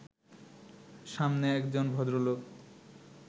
সামনে একজন ভদ্রলোক